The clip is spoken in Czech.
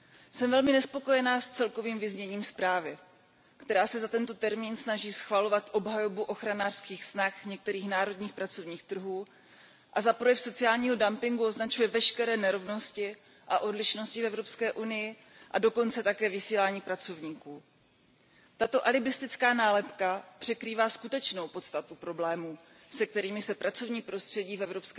Jsem velmi nespokojená s celkovým vyzněním zprávy, která se za tento termín snaží schovat obhajobu ochranářských snah některých národních pracovních trhů a za projev sociálního dumpingu označuje veškeré nerovnosti a odlišnosti v Evropské unii a dokonce také vysílání pracovníků. Tato alibistická nálepka překrývá skutečnou podstatu problémů, se kterými se pracovní prostředí v EU